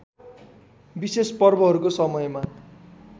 विशेष पर्वहरूको समयमा